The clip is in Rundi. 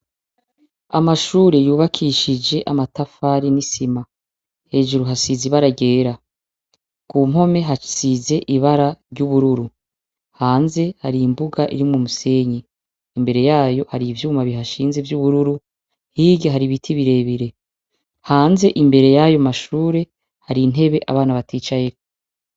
Amashure y’ubakishije amatafari n’isima, hejuru hasize ibara ryera, ku mpome hasize ibara ry’ubururu hanze hari imbuga irimwo umusenyi, imbere yaho hari ivyuma bihashinze vy’ubururu hirya hari ibiti birebire, hanze imbere yayo mashure hari intebe abana baticayeko.